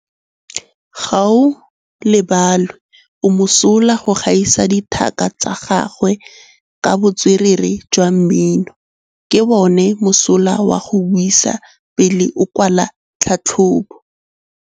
Gaolebalwe o mosola go gaisa dithaka tsa gagwe ka botswerere jwa mmino. Ke bone mosola wa go buisa pele o kwala tlhatlhobô.